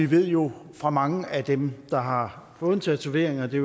ved jo fra mange af dem der har fået en tatovering og det